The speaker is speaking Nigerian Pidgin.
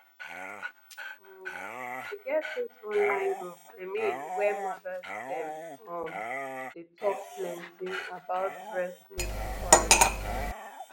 um e get this online group i mean wey mothers dem um dey talk plenty about breast milk storage